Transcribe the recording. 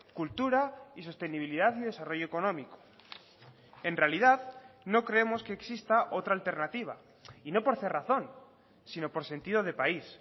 cultura y sostenibilidad y desarrollo económico en realidad no creemos que exista otra alternativa y no por cerrazón sino por sentido de país